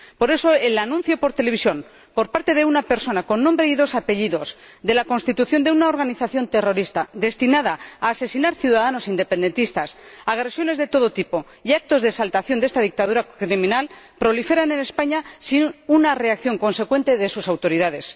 Por eso, el anuncio por televisión, por parte de una persona con nombre y dos apellidos, de la constitución de una organización terrorista destinada a asesinar ciudadanos independentistas, agresiones de todo tipo y actos de exaltación de esta dictadura criminal proliferan en España sin una reacción consecuente de sus autoridades.